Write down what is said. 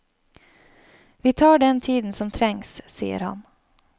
Vi tar den tiden som trengs, sier han.